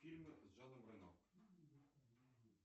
фильмы с жаном рено